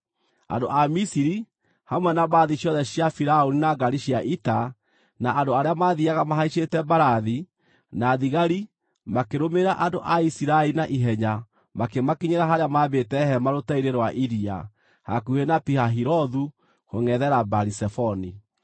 Andũ a Misiri, hamwe na mbarathi ciothe cia Firaũni na ngaari cia ita, na andũ arĩa mathiiaga mahaicĩte mbarathi, na thigari, makĩrũmĩrĩra andũ a Isiraeli na ihenya makĩmakinyĩra harĩa maambĩte hema rũteere-inĩ rwa iria, hakuhĩ na Pi-Hahirothu kũngʼethera Baali-Zefoni.